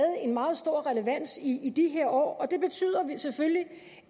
en meget stor relevans i i de her år og det betyder selvfølgelig